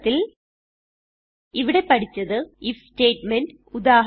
ചുരുക്കത്തിൽ ഇവിടെ പഠിച്ചത് ഐഎഫ് സ്റ്റേറ്റ്മെന്റ്